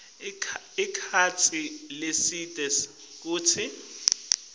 sikhatsi lesidze kutsi